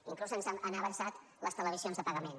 inclús ens han avançat les televisions de pagament